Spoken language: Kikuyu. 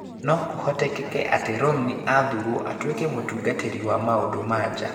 No Kũhotekeka atĩ Romney athuurũo atuĩke mũtungatĩri wa maũndũ ma nja.